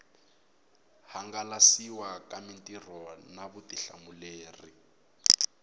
hangalasiwa ka mitirho na vutihlamuleri